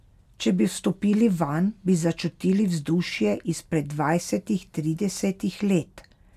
Če bi vstopili vanj, bi začutili vzdušje izpred dvajsetih, tridesetih let.